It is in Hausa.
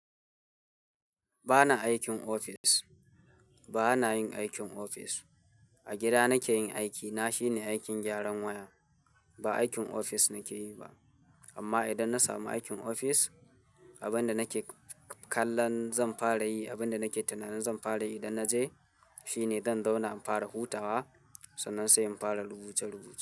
Ba na aikin ofis, ba na yin aikin ofis. A gida nake yin aikina shine aikin gyaran waya. Ba aikin ofis nake yi ba. Amma idan na samu aikin ofis, abin da nake kallon zan fara yi, abin da nake tunanin zan fara yi idan na je, shine zan zauna in fara hutawa sannan sai in fara rubuce-rubuce.